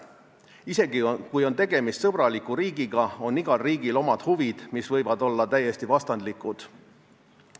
Isegi kui on tegemist sõbraliku riigiga, on igal riigil omad huvid, mis võivad olla meie omadega täiesti vastandlikud.